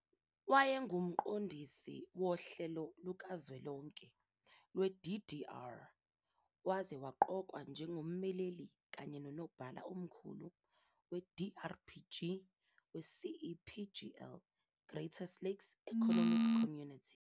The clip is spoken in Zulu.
WayenguMqondisi wohlelo lukazwelonke lwe-DDR waze waqokwa njengommeleli kanye nonobhala omkhulu we-DRPG we-CEPGL, Great Lakes Economic Community.